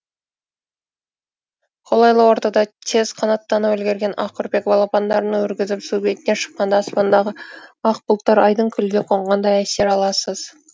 қолайлы ортада тез қанаттанып үлгерген ақүрпек балапандарын өргізіп су бетіне шыққанда аспандағы ақ бұлттар айдын көлге қонғандай әсер аласыз